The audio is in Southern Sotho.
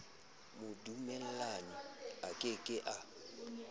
modumellani a ke ke a